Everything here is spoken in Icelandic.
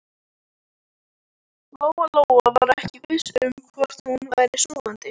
Lóa-Lóa var ekki viss um hvort hún væri sofandi.